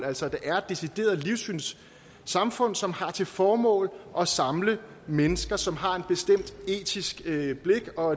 altså er et decideret livssynssamfund som har til formål at samle mennesker som har et bestemt etisk blik og